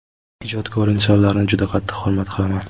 Ijodkor insonlarni juda qattiq hurmat qilaman.